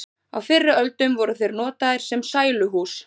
á fyrri öldum voru þeir notaðir sem sæluhús